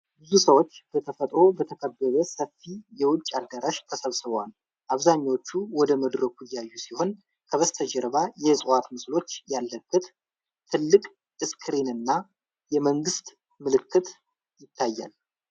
ብዙ ሰዎች በተፈጥሮ በተከበበ ሰፊ የውጪ አዳራሽ ተሰብስበዋል። አብዛኞቹ ወደ መድረኩ እያዩ ሲሆን፣ ከበስተጀርባ የእፅዋት ምስሎች ያለበት ትልቅ ስክሪንና የመንግስት ምልክት ይታያል።